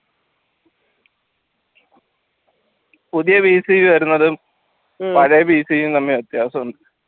പുതിയ വരുന്നതും പഴയ തമ്മിൽ വ്യത്യാസമുണ്ട്